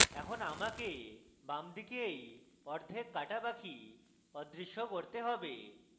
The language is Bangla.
এখন আমাকে বামদিকে এই অর্ধেক cut পাখি অদৃশ্য করতে have